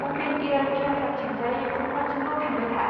अपेन एयार थियेथारथिंजाय फुटपाथजोंल' थांबाय था।